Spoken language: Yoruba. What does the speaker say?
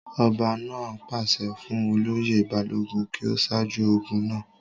ọba náà pàṣẹ fún olóyè balógun kí ó sáájú ogun náà